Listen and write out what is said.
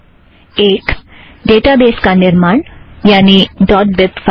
एक - ड़ेटाबेज़ का निर्माण यानि बीब फ़ाइल